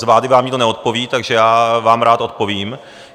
Z vlády vám nikdo neodpoví, takže já vám rád odpovím.